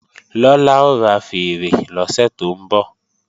Lọlá ó ra fèèrè lọ́sẹ̀ tó ń bọ̀